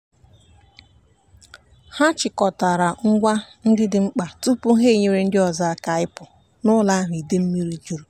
ha chịkọtara ngwa ndị dị mkpa tupu ha enyere ndị ọzọ aka ịpụ n'ụlọ ahụ idei mmiri juru.